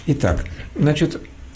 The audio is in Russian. и так значит